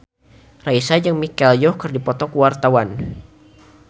Raisa jeung Michelle Yeoh keur dipoto ku wartawan